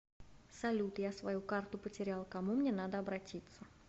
салют я свою карту потерял кому мне надо обратиться